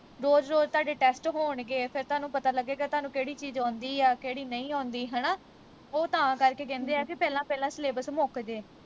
ਰੋਜ ਰੋਜ ਤੁਹਾਡੇ test ਹੋਣਗੇ ਫਿਰ ਤੁਹਾਨੂੰ ਪਤਾ ਲੱਗੇਗਾ ਤੁਹਾਨੂੰ ਕਿਹੜੀ ਚੀਜ ਆਉਂਦੀ ਆ ਕਿਹੜੀ ਨਹੀਂ ਆਉਂਦੀ ਹਣਾ ਉਹ ਤਾਂ ਕਰਕੇ ਕਹਿੰਦੇ ਵਾਂ ਪਹਿਲਾ ਪਹਿਲਾਂ syllabus ਮੁਕਜੇ